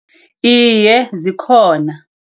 Iye, zikhona.